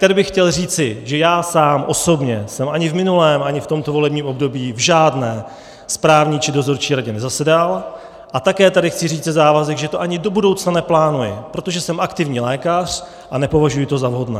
Tady bych chtěl říci, že já sám osobně jsem ani v minulém, ani v tomto volebním období v žádné správní či dozorčí radě nezasedal, a také tady chci říci závazek, že to ani do budoucna neplánuji, protože jsem aktivní lékař a nepovažuji to za vhodné.